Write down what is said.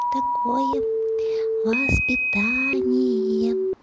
такое воспитание